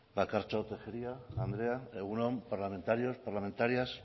bakartxo tejeria andrea egun on parlamentarios parlamentarias